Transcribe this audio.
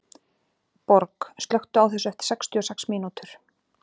Borg, slökktu á þessu eftir sextíu og sex mínútur.